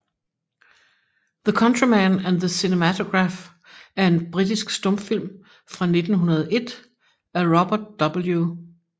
The Countryman and the Cinematograph er en britisk stumfilm fra 1901 af Robert W